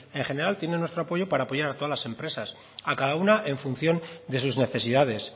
en general tienen nuestro apoyo para apoyar a todas las empresas a cada una en función de sus necesidades